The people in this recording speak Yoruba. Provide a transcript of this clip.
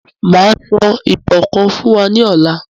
Máa sọ ìtàn kàn fún wa ní ọ̀la